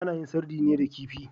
Ana yin sardine da kifi.